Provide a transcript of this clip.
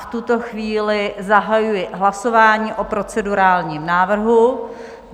V tuto chvíli zahajuji hlasování o procedurálním návrhu.